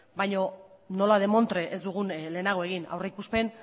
baina nola demontre ez dugun lehenago egin aurrikuspen